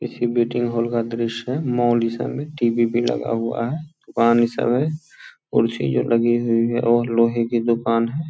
किसी meeting hall का दृश्य है मॉल ई सब में टी.वी. भी लगा हुआ है दुकान ई सब है कुर्सी जो लगी हुई है और लोहे की दुकान है ।